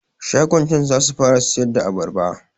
Shagon can zasu fara siyarda abarba